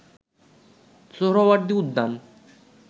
সোহরাওয়ার্দী উদ্যান